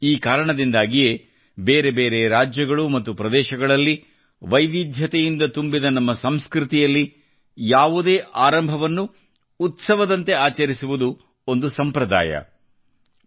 ಈ ಕಾರಣದಿಂದಾಗಿಯೇ ಬೇರೆ ಬೇರೆ ರಾಜ್ಯಗಳು ಮತ್ತು ಪ್ರದೇಶಗಳಲ್ಲಿ ವೈವಿಧ್ಯತೆಯಿಂದ ತುಂಬಿದ ನಮ್ಮ ಸಂಸ್ಕೃತಿಯಲ್ಲಿ ಯಾವುದೇ ಆರಂಭವನ್ನು ಉತ್ಸವದಂತೆ ಆಚರಿಸುವುದು ಒಂದು ಸಂಪ್ರದಾಯವಾಗಿದೆ